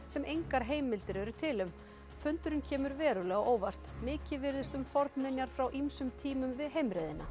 sem engar heimildir eru til um fundurinn kemur verulega á óvart mikið virðist um fornminjar frá ýmsum tímum við heimreiðina